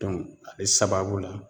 ale sababu la